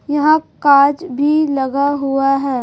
यहां काज भी लगा हुआ है।